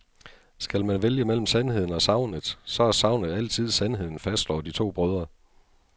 Skal man vælge mellem sandheden og sagnet, så er sagnet altid sandheden, fastslår de to brødre.